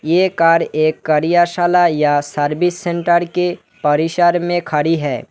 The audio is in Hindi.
ये कार एक कार्यशाला या सर्विस सेंटर के परिसर में खड़ी है।